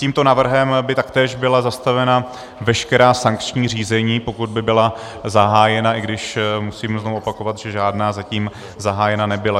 Tímto návrhem by taktéž byla zastavena veškerá sankční řízení, pokud by byla zahájena, i když musím znova opakovat, že žádná zatím zahájena nebyla.